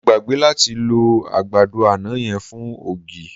Mo gbàgbé láti lọ àgbàdo àná yẹn fún ògì.